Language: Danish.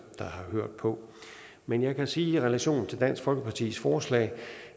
der har hørt på men jeg kan sige i relation til dansk folkepartis forslag